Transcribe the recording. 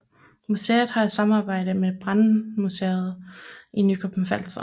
Museet har haft et samarbejde med Brandmuseet i Nykøbing Falster